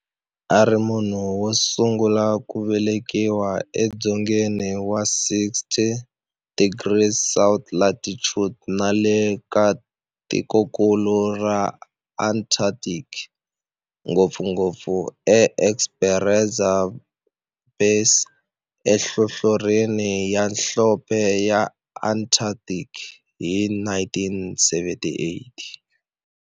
A ri munhu wosungula ku velekiwa e dzongeni wa 60 degrees south latitude nale ka tikonkulu ra Antarctic, ngopfungopfu e Esperanza Base enhlohlorhini ya nhlonhle ya Antarctic hi 1978.